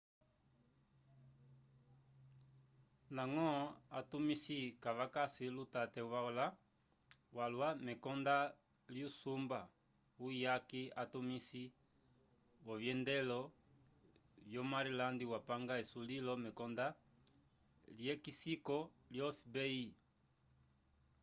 ndañgo atumisi kavakasi lutate walwa mekondo lyusumba wuyaki atumisi vyovyendelo vyo maryland wapanga esulilo mekonda lyekisiko lyo fbi